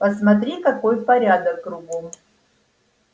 посмотри какой порядок кругом